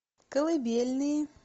колыбельные